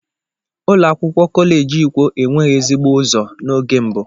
Ụlọ akwụkwọ kọleji ikwo enweghị ezigbo ụzọ n'oge mbu.